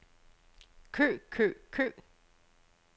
kø kø kø